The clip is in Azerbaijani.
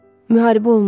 Müharibə olmasın.